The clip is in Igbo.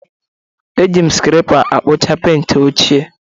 Eji m skrepa akpucha penti ochie